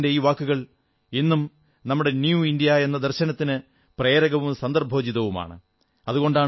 സർദാർ സാബിന്റെ ഈ വാക്കുകൾ ഇന്നും നമ്മുടെ നവ ഇന്ത്യാ എന്ന ദർശനത്തിന് പ്രേരകവും സന്ദർഭോചിതവുമാണ്